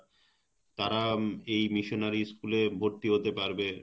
তারা এই missionary school এ ভর্তি হতে পারবে,